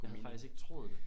Jeg havde faktisk ikke troet det